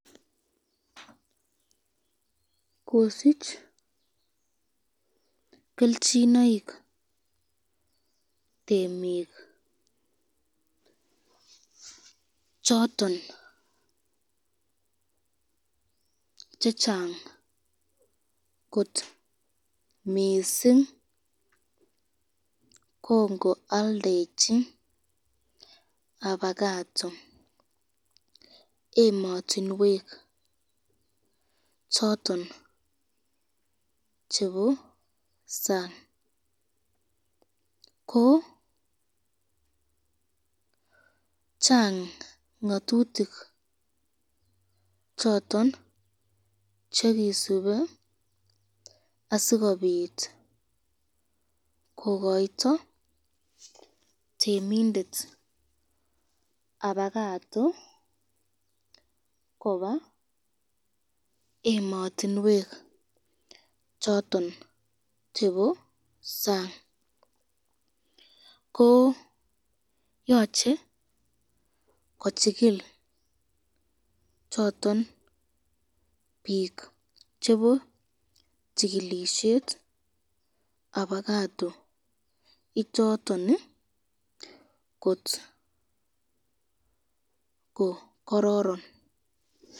kosich kelchinoik temik choton chechang kot mising kongoaldechi apakato ematinwek choton choton chebo sang, ko chang ngatutik choton chekisubi asikobit kokoiyto temindet apakato koba ematinwek choton chebo sang, ko yache kochikil choton bik chebo chikilisyet abakato pichaton kotko kororom.